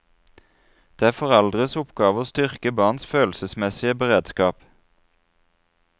Det er foreldres oppgave å styrke barns følelsesmessige beredskap.